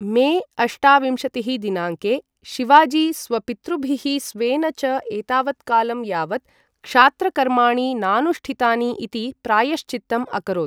मे अष्टाविंशतिः दिनाङ्के, शिवाजी स्वपितृभिः स्वेन च एतावत्कालं यावत् क्षात्रकर्माणि नानुष्ठितानि इति प्रायश्चित्तम् अकरोत्।